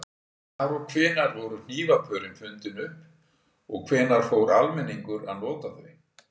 Hvar og hvenær voru hnífapörin fundin upp og hvenær fór almenningur að nota þau?